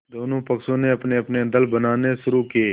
दोनों पक्षों ने अपनेअपने दल बनाने शुरू किये